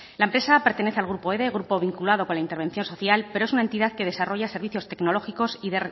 la empresa pertenece al grupo ede grupo vinculado con la intervención social pero es una entidad que desarrolla servicios tecnológicos y